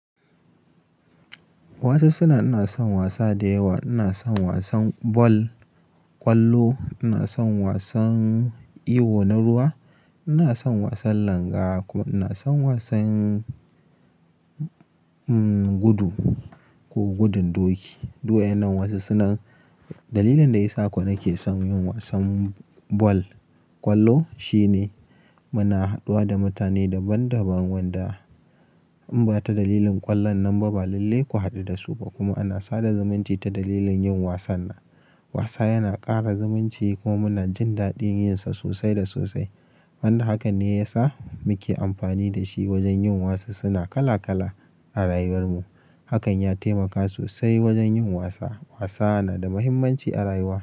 Wasassuna. Ina son wasa da yawa. Ina son wasan bal, ƙwallo, ina son wasan iyo na ruwa, ina son wasan langa kuma ina son wasan, gudu ko gudun doki. Duk wa'innan wasassuna. Dalilin da ya sa ko nake son yin wasan bal, kwallo, shine, muna haduwa da mutane daban daban wanda in ba ta dalilin kwallon nan ba lalle ku hadu da su ba kuma ana sada zumunci ta dalilin yin wasan nan. Wasa yana ƙara zumunci kuma muna jin daɗin yin sa sosai da sosai. Wanda hakan ne ya sa muke amfani da shi wajen yin wasassuna kala kala a rayuwar mu. Hakan ya taimaka sosai wajen yin wasa. Wasa na da muhimmanci a rayuwa.